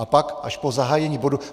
A pak, až po zahájení bodu...